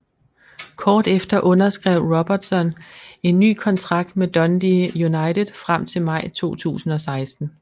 Kort efter underskrev Robertson en ny kontrakt med Dundee United frem til maj 2016